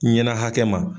Ɲɛna hakɛ ma